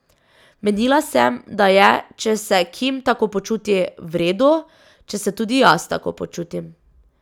Menila sem, da je, če se Kim tako počuti, v redu, če se tudi jaz tako počutim.